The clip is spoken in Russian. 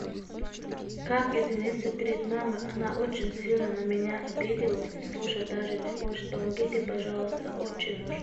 как извениться перед мамой она очень сильно на меня обиделась и слушать даже не хочет помогите пожалуйста очень нужно